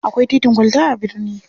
Akwai titin kwalta a birni.